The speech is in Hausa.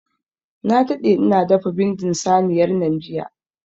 Na daɗe ina dafa bindin saniyar nan jiya.